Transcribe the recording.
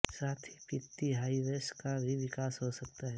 साथ ही पित्ती हाइव्स का भी विकास हो सकता है